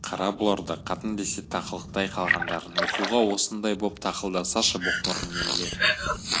қара бұларды қатын десе тақылықтай қалғандарын оқуға осындай боп тақылдасашы боқмұрын немелер